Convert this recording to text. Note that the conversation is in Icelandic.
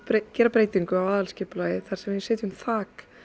gera breytingu á aðalskipulagi þar sem við setjum þak